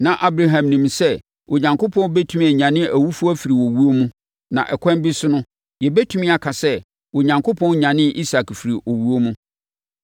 Na Abraham nim sɛ Onyankopɔn bɛtumi anyane awufoɔ afiri owuo mu, na ɛkwan bi so no, yɛbɛtumi aka sɛ Onyankopɔn nyanee Isak firii owuo mu.